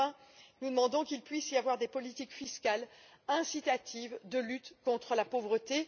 Pour finir, nous demandons qu'il puisse y avoir des politiques fiscales incitatives de lutte contre la pauvreté.